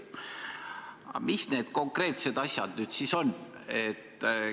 Aga mis need konkreetsed asjad nüüd siis on?